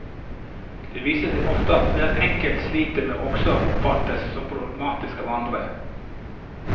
Det viser seg ofte at det hver enkelt sliter med også oppfattes som problematisk av andre.